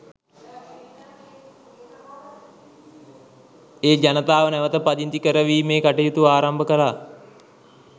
ඒ ජනතාව නැවත පදිංචි කරවීමේ කටයුතු ආරම්භ කළා.